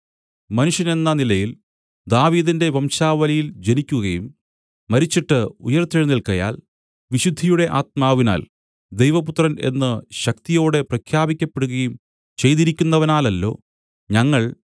മനുഷ്യനെന്ന നിലയിൽ ദാവീദിന്റെ വംശാവലിയിൽ ജനിക്കുകയും മരിച്ചിട്ട് ഉയിർത്തെഴുന്നേല്ക്കയാൽ വിശുദ്ധിയുടെ ആത്മാവിനാൽ ദൈവപുത്രൻ എന്ന് ശക്തിയോടെ പ്രഖ്യാപിക്കപ്പെടുകയും ചെയ്തിരിക്കുന്നവനാലല്ലോ ഞങ്ങൾ